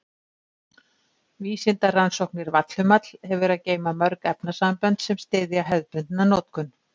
Vísindarannsóknir Vallhumall hefur að geyma mörg efnasambönd sem styðja hefðbundna notkun.